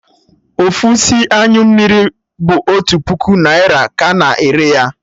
Ofu isi anyụ bụ otu puku naira ka a na-ere ya